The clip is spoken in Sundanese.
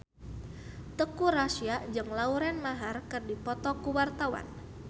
Teuku Rassya jeung Lauren Maher keur dipoto ku wartawan